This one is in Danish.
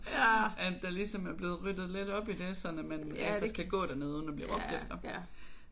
At der ligesom er blevet ryddet lidt op i det sådan at man rent faktisk kan gå dernede uden at blive råbt efter